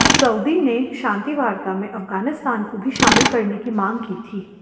Saudi ने शांति वार्ता में अफगानिस्तान को भी शामिल करने की मांग की थी